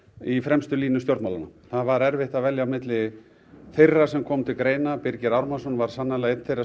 í fremstu línu stjórnmálanna það var erfitt að velja á milli þeirra sem komu til greina Birgir Ármannsson var sannarlega einn þeirra